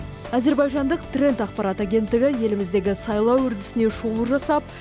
әзербайжандық тренд ақпарат агенттігі еліміздегі сайлау үрдісіне шолу жасап